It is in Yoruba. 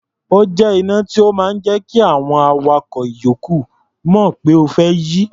Ó jẹ́ iná tó máa ń jẹ́ kí àwọn awakọ̀ ìyókù mọ̀ pé o fẹ́ yí.